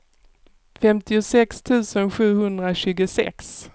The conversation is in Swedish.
femtiosex tusen sjuhundratjugosex